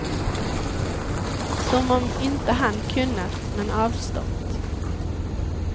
Som om inte han kunnat, men avstått.